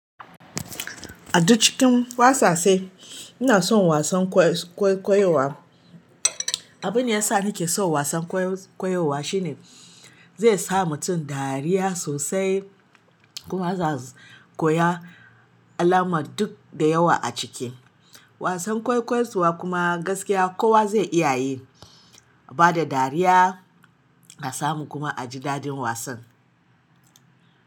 A duk cikin wasase ina son wasan kwaikwayowa. Abin da ya sa nake son wasan kwaikwayowa shine zai sa mutum dariya sosai kuma zaz koya alamar duk da yawa a ciki. Wasan kwaikwaiwa kuma gaskiya kowa zai iya yi ba da dariya a samu kuma a ji daɗin wasan.